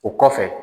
O kɔfɛ